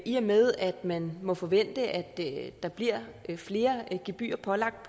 i og med at man må forvente at der bliver flere gebyrer pålagt